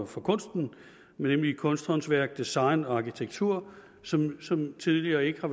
for kunsten nemlig kunsthåndværk design og arkitektur som som tidligere ikke har